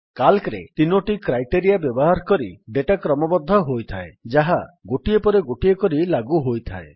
Calcରେ ତିନୋଟି କ୍ରାଇଟେରିଆ ବ୍ୟବହାର କରି ଡେଟା କ୍ରମବଦ୍ଧ ହୋଇଥାଏ ଯାହା ଗୋଟିଏ ପରେ ଗୋଟିଏ କରି ଲାଗୁ ହୋଇଥାଏ